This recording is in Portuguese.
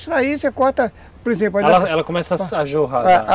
Extrair, você corta, por exemplo... Ela começa a jorrar.